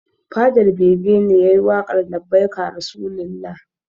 Fadar bege ne yayi waƙar labbaika rasulullah